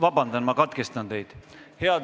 Ma korra katkestan teid.